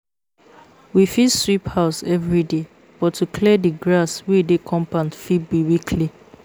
We fit sweep house everyday but to clear di grass wey dey compound fit be weekly